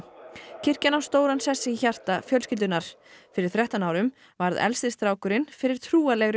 kirkjan á stóran sess í hjarta fjölskyldunnar fyrir þrettán árum varð elsti strákurinn fyrir trúarlegri